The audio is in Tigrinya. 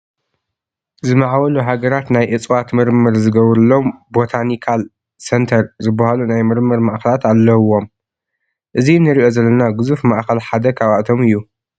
ዝማዕበሉ ሃገራት ናይ እፅዋት ምርምር ዝገብሩሎም ቦታኒካል ሴንተር ዝበሃሉ ናይ ምርምር ማእከላት ኣለዉዎም፡፡ እዚ እንሪኦ ዘለና ግዙፍ ማእከል ሓደ ካብኣቶም እዩ፡፡